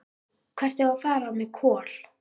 Hvert eigum við að fara með Kol?